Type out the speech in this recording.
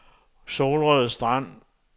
Solrød Strand